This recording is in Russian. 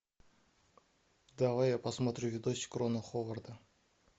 давай я посмотрю видосик рона ховарда